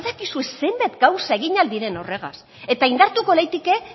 badakizue zenbat gauza egin al diren horregaz eta indartuko leike